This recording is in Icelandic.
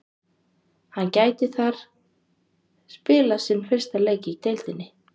Hann gæti þar spilað sinn fyrsta leik í deildinni.